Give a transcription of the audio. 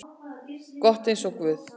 gott eins og guð.